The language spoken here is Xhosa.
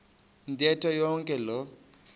ntetho yonke loo